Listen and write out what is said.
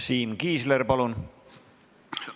Siim Kiisler, palun!